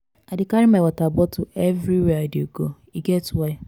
i dey carry my water bottle everywhere i dey go e get why.